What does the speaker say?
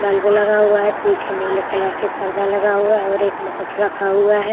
Bulb लगा हुआ है। पीछे नीले कलर से पर्दा लगा हुआ है और एक मुकुट रखा हुआ है।